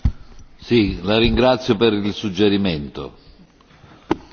La ringrazio per il suggerimento on.